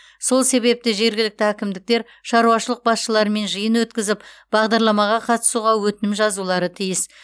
сол себепті жергілікті әкімдіктер шаруашылық басшыларымен жиын өткізіп бағдарламаға қатысуға өтінім жазулары тиіс